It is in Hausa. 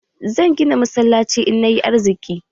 Zan gina masallaci in nayi arziki.